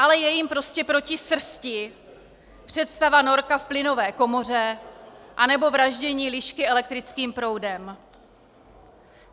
Ale je jim prostě proti srsti představa norka v plynové komoře nebo vraždění lišky elektrickým proudem.